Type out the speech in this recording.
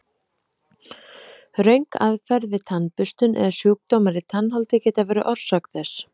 Röng aðferð við tannburstun eða sjúkdómar í tannholdi geta verið orsök þess.